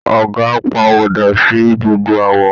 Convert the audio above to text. Ọ̀gà pàwọ̀dà sí gbogbo àwọ̀